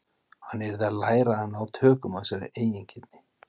Hann yrði að læra að ná tökum á þessari eigingirni.